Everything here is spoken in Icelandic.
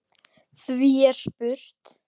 Því er spurt: